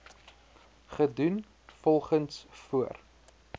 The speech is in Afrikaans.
gedoen volgens voor